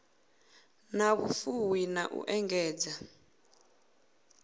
na vhufuwi na u engedza